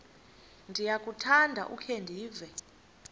ndiyakuthanda ukukhe ndive